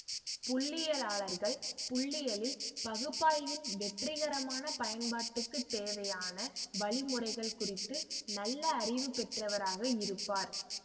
புள்ளியியலாளர்கள் புள்ளியியல் பகுப்பாய்வின் வெற்றிகரமான பயன்பாட்டுக்குத் தேவையான வழி முறைகள் குறித்து நல்ல அறிவு பெற்றவராக இருப்பார்